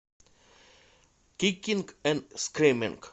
кикинг энд скриминг